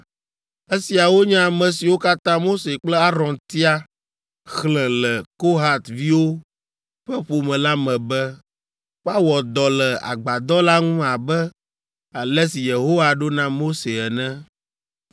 Esiawo nye ame siwo katã Mose kple Aron tia xlẽ le Kohat viwo ƒe ƒome la me be woawɔ dɔ le agbadɔ la ŋu abe ale si Yehowa ɖo na Mose ene.